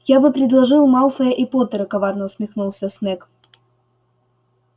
я бы предложил малфоя и поттера коварно усмехнулся снегг